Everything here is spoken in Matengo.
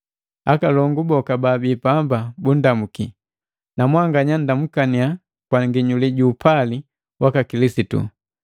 Akalongu boka baabii pamba bundamuki. Namwanganya nndamukaniya kwa nginyuli ju upali waka Kilisitu.